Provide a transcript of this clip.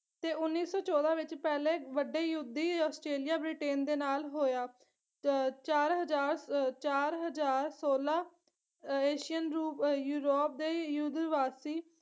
ਤੇ ਉੱਨੀ ਸੋ ਚੋਦਾਂ ਵਿੱਚ ਪਹਿਲੇ ਵੱਡੇ ਯੁੱਧ ਦੀ ਆਸਟ੍ਰੇਲੀਆ ਬ੍ਰਿਟੇਨ ਦੇ ਨਾਲ ਹੋਇਆ ਚ ਚਾਰ ਹਜ਼ਾਰ ਚਾਰ ਹਜ਼ਾਰ ਸੋਲਾ ਏਸ਼ੀਅਨ ਰੂਪ ਯੂਰੋਪ ਦੇ ਯੁੱਧਵਾਸੀ